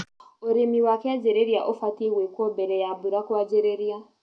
ũrĩmi wa kĩanjĩrĩria ũbatie gwĩkwo mbere ya mbura kwanjĩrĩria